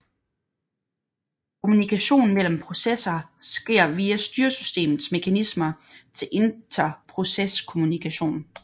Kommunikation mellem processer sker via styresystemets mekanismer til interproceskommunikation